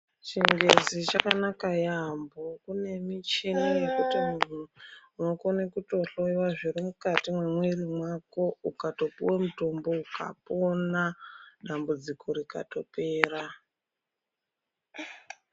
Chingezi chakanaka yaambo kune michini yekuti munhu unokone kutohloyiwe zviri mukati mwemwiiri mwako ukatopuwa mutombo ukapona, dambudziko rikatopera.